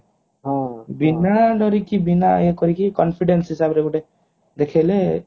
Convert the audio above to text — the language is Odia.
ବିନା ଡରିକି ବିନା ଇଏ କରିକି confidence ହିସାବରେ ଗୋଟେ ଦେଖେଇଲେ